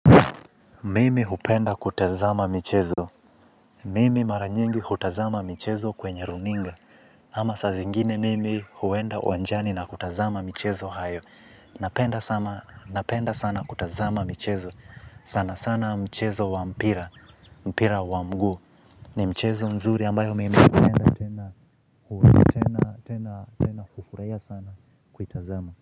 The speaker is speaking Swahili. Mimi hupenda kutazama michezo. Mimi mara nyingi hutazama michezo kwenye runinga. Ama sa zingine mimi huenda uwanjani na kutazama michezo hayo. Napenda sana kutazama michezo. Sana sana mchezo wa mpira, mpira wa mguu ni mchezo mzuri ambayo mimi napenda tena kutazama.